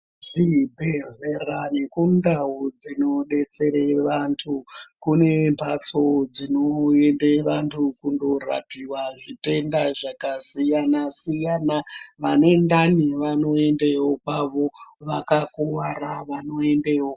Zvibhedlera nekundau dzinodetsera vantu kune mbatso dzinoyenda vantu kundorapiwa zvitenda zvakasiyana-siyana. Vane ndani vanoendawo kwavo vakakuvara vanoendawo kwavo.